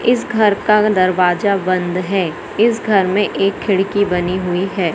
इस घर का दरवाजा बंद है इस घर में एक खिड़की बनी हुई है।